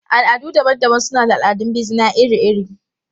Al'adu daban-daban suna da al'adun bizina iri-iri.